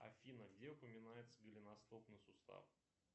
афина где упоминается голеностопный сустав